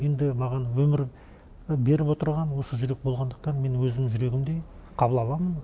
енді маған өмір беріп отырған осы жүрек болғандықтан мен өзімнің жүрегімдей қабыл аламын